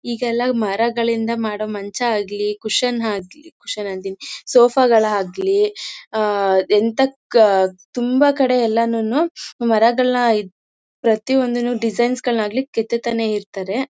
ಈಗೆಲ್ಲ ಮರಗಳಿಂದ ಮಾಡೋ ಮಂಚ ಆಗ್ಲೀ ಕುಶನ್ ಆಗ್ಲೀ ಕುಶನ್ ಅಂತೀನಿ ಸೋಫಾ ಗಳಾಗ್ಲಿ ಆ ಎಂತ ಕ್ಕಾ ತುಂಬಾ ಕಡೆ ಎಲ್ಲಾನೂನು ಮರಗಳನ್ನ ಪ್ರತಿಯೊಂದನ್ನ ಡಿಸೈನ್ಸ್ ಗಳಾನ್ನಾಗಲಿ ಕೆತ್ತುತ್ತಾನೆ ಇರ್ತಾರೆ.